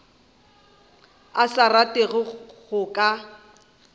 a sa rate go ka